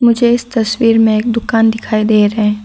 मुझे इस तस्वीर में एक दुकान दिखाई दे रहा है।